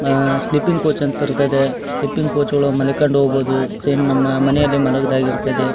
ಆಹ್ಹ್ sleeping coach ಅಂತ ಇರ್ತದೆ sleeping coach ಅಲ್ಲಿ ಮನಿಕಂಡ್ ಹೋಗ್ಬಹುದು ಸೇಮ್ ನಮ್ಮ ಮನೆಯಲ್ಲಿ ಮಲಗಿದ ಹಾಗೆ ಇರುತ್ತದೆ.